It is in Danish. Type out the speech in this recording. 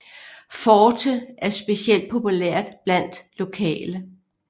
Forte er specielt populært blandt lokale